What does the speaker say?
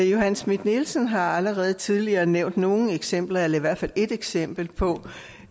johanne schmidt nielsen har allerede tidligere nævnt nogle eksempler eller i hvert fald et eksempel på